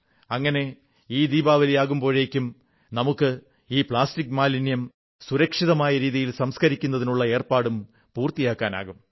അങ്ങനെ ഈ ദീപാവലി ആകുമ്പോഴേക്കും നമുക്ക് ഈ പ്ലാസ്റ്റിക് മാലിന്യം സുരക്ഷിതമായ രീതിയിൽ സംസ്കരിക്കുതിനുള്ള ഏർപ്പാടും പൂർത്തിയാക്കാനാകും